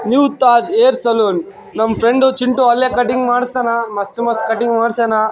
New Taj hair salon ನಮ್ಮ್ friend Chintu ಅಲ್ಲೆ cutting ಮಾಡ್ಸ್ತನ ಮಸ್ತ್ ಮಸ್ತ್ ಕಟ್ಟಿಂಗ್ ಮಾಡ್ಸ್ಯಾನ .